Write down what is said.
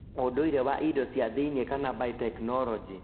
ũndũire wa indo cia thĩinĩ kana biotechnology